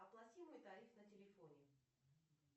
оплати мой тариф на телефоне